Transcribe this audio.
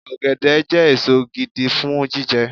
Ọ̀gẹ̀dẹ̀ jẹ́ èso gidi fún jíjẹ